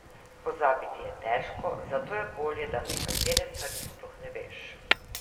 Pozabiti je težko, zato je bolje, da nekaterih stvari sploh ne veš.